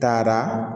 Taara